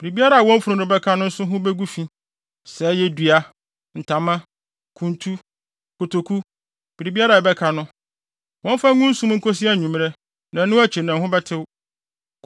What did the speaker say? Biribiara a wɔn funu no bɛka no nso ho begu fi, sɛ ɛyɛ dua, ntama, kuntu, kotoku; biribiara a ɛbɛka no, wɔmfa ngu nsu mu nkosi anwummere. Ɛno akyi no, ɛho bɛtew.